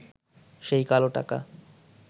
সেই কালো টাকা